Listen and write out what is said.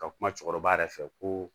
Ka kuma cɛkɔrɔba yɛrɛ fɛ ko